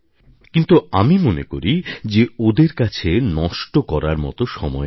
কিন্তু আমি মনে করি যে ওদের কাছে নষ্ট করার মত সময় নেই